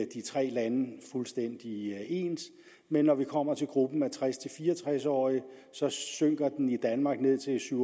tre lande fuldstændig ens men når vi kommer til gruppen af tres til fire og tres årige synker den i danmark ned til syv